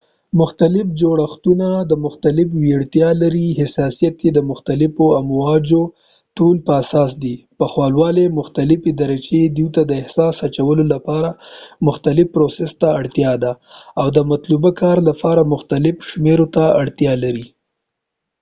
مختلف جوړښتونه مختلفی وړتیاوي لري .حساسیت یې د مختلفو امواجو د طول په اساس دي د پخوالی مختلفی درچې، دوي ته د احساس اچولو لپاره مختلف پروسس ته اړتیا ده او د مطلوبه کار لپاره محتلفو شمیرو ته اړتیا لر ی